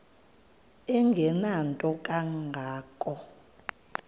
engenanto kanga ko